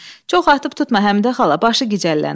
Çox atıb tutma, Həmidə xala, başı gicəllənər.